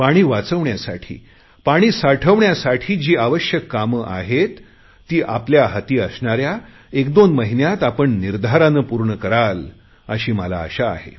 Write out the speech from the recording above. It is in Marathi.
पाणी वाचविण्यासाठी पाणी साठवण्यासाठी जी आवश्यक कामे आहेत ती आपल्या हाती असणाऱ्या एकदोन महिन्यात आपण निर्धाराने पूर्ण कराल अशी मला आशा आहे